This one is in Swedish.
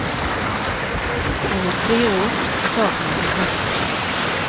Hon är tre år och saknar sin pappa.